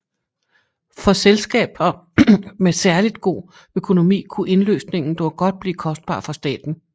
For selskaber med særligt god økonomi kunne indløsningen dog godt blive kostbar for staten